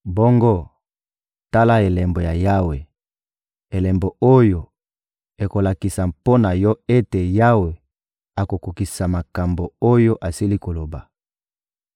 Bongo, tala elembo ya Yawe, elembo oyo ekolakisa mpo na yo ete Yawe akokokisa makambo oyo asili kolaka: